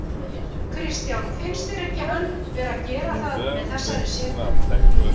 Kristján: Finnst þér hann vera að gera það með þessari setu?